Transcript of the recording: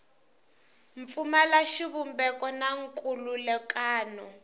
pfumala xivumbeko na nkhulukelano wa